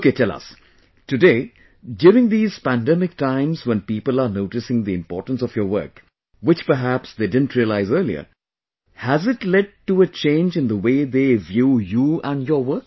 Okay, tell us...today, during these pandemic times when people are noticing the importance of your work, which perhaps they didn't realise earlier...has it led to a change in the way they view you and your work